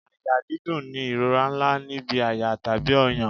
Àyà dídùn ni ìrora ńlá níbi àyà tàbí ọyàn.